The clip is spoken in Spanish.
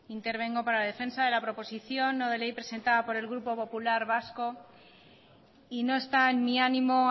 intervengo para defensa de la proposición no de ley presentada por el grupo popular vasco y no está en mi ánimo